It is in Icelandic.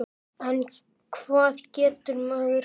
En hvað getur maður gert?